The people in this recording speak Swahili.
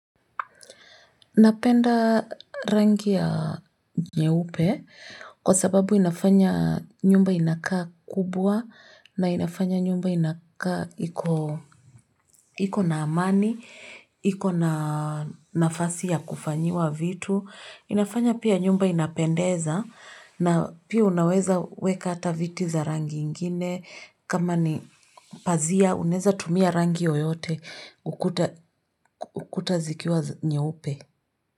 Napenda rangi ya nyeupe kwa sababu inafanya nyumba inakaa kubwa na inafanya nyumba inakaa iko na amani, iko na nafasi ya kufanyiwa vitu. Inafanya pia nyumba inapendeza na pia unaweza weka hata viti za rangi ingine kama ni pazia unaeza tumia rangi yoyote ukuta zikiwa nyeupe.